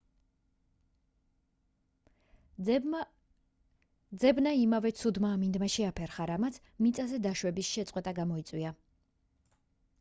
ძებნა იმავე ცუდმა ამინდმა შეაფერხა რამაც მიწაზე დაშვების შეწყვეტა გამოიწვია